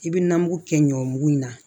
I bɛ nɔnɔ mugu kɛ ɲɔmugu in na